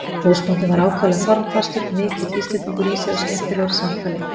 Húsbóndinn var ákaflega formfastur, mikill Íslendingur í sér og skemmtilegur í samtali.